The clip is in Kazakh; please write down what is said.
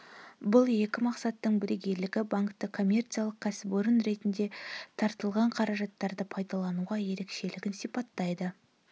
бұл екі мақсаттың бірегейлігі банкті коммерциялық кәсіпорын ретінде тартылған қаражаттарды пайдалануға ерекшелігін сипаттайды